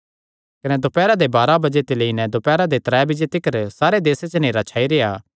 कने दोपैरा दे बाराह बजे सारे देसे च नेहरा छाई गेआ कने दोपैरा दे त्रै बजे तिकर छाई रेह्आ